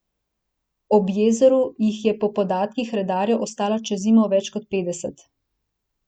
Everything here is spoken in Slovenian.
Ob jezeru jih je po podatkih redarjev ostalo čez zimo več kot petdeset.